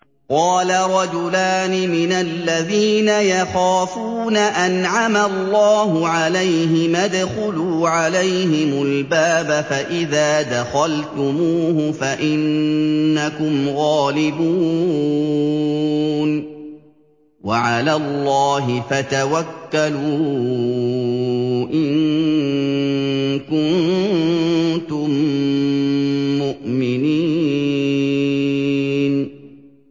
قَالَ رَجُلَانِ مِنَ الَّذِينَ يَخَافُونَ أَنْعَمَ اللَّهُ عَلَيْهِمَا ادْخُلُوا عَلَيْهِمُ الْبَابَ فَإِذَا دَخَلْتُمُوهُ فَإِنَّكُمْ غَالِبُونَ ۚ وَعَلَى اللَّهِ فَتَوَكَّلُوا إِن كُنتُم مُّؤْمِنِينَ